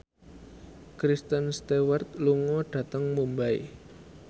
Kristen Stewart lunga dhateng Mumbai